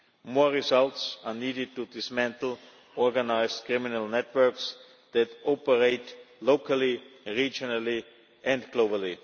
More results are needed to dismantle organised criminal networks that operate locally, regionally and globally.